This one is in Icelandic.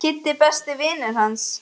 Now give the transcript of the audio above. Kiddi er besti vinur hans.